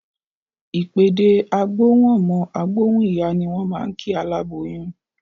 Ìpèdè "á gbóhùn ọmọ, á gbóhùn ìyá" ni wọ́n máa ń kí aláboyún